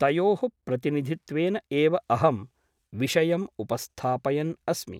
तयोः प्रतिनिधित्वेन एव अहं विषयम् उपस्थापयन् अस्मि ।